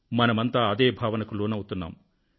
మనమంతా అదే భావనకు లోనవుతున్నాము